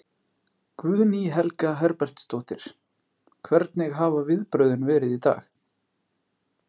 Guðný Helga Herbertsdóttir: Hvernig hafa viðbrögðin verið í dag?